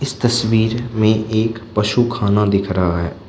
इस तस्वीर में एक पशु खाना दिख रहा है।